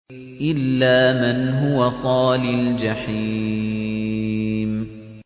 إِلَّا مَنْ هُوَ صَالِ الْجَحِيمِ